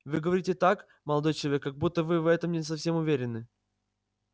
вы говорите так молодой человек как будто вы в этом не совсем уверены